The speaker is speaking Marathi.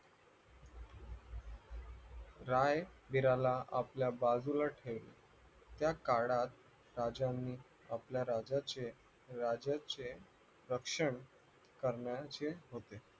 राय वीराला आपल्या बाजूला ठेवून त्या काळात राजाने आपल्याला राज्याचे रक्षण करण्याचे होते